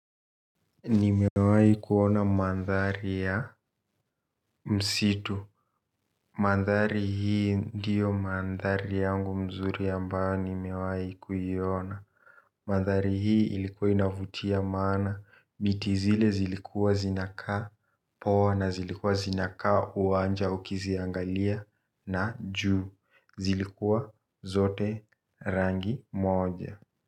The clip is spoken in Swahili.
Nimewai kuona mandhari ya msitu. Mandhari hii ndiyo mandhari yangu mzuri ambayo nimewai kuiona mandhari hii ilikuwa inavutia maana miti zile zilikuwa zinakaa poa na zilikuwa zinakaa uwanja ukiziangalia na juu zilikuwa zote rangi moja.